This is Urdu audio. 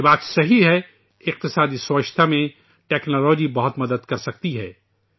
یہ بات درست ہے کہ معاشی صفائی میں ٹیکنالوجی بہت مدد کر سکتی ہے